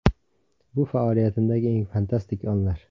Bu faoliyatimdagi eng fantastik onlar.